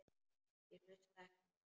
Ég hlusta ekki á þig.